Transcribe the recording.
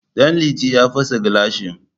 Ɗanliti ya fasa gilashi